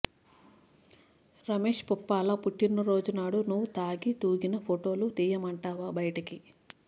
రమేష్ పుప్పాల పుట్టినరోజు నాడు నువ్ తాగి తూగిన ఫోటోలు తీయమంటావా బయటకి